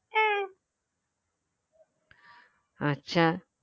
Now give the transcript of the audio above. আচ্ছা